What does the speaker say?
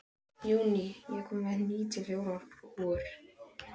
Júní, ég kom með níutíu og fjórar húfur!